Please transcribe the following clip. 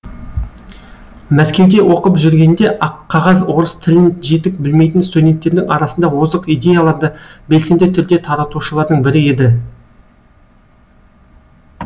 мәскеуде оқып жүргенінде аққағаз орыс тілін жетік білмейтін студенттердің арасында озық идеяларды белсенді түрде таратушылардың бірі еді